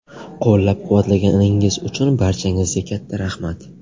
Qo‘llab-quvvatlaganingiz uchun barchangizga katta rahmat.